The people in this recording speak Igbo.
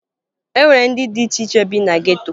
E nwere ndị dị iche iche bi na geto